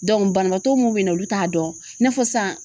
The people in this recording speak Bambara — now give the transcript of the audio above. Dɔnku banabaatɔ mun be na olu t'a dɔn i n'a fɔ sisan